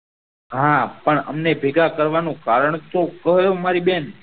હા પણ હમને ભેગા કરવાનો કારણ તો લહો મારી બેહેન